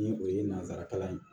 Ni o ye nanzara kalan ye